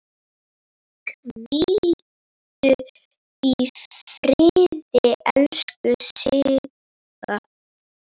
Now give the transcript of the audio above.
Hvíldu í friði, elsku Siggi.